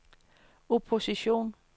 opposition